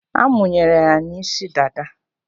A munyere ya n'isi dada